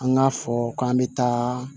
An k'a fɔ k'an bɛ taa